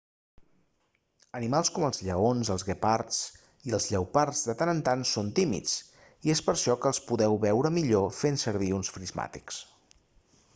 animals com els lleons els guepards i els lleopards de tant en tant són tímids i és per això que els podreu veure millor fent servir uns prismàtics